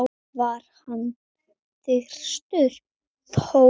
var hann þyrstur þó.